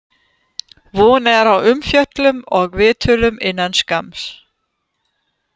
Von er á umfjöllun og viðtölum innan skamms.